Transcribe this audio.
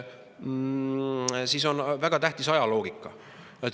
Seal on väga tähtis just ajaloogika.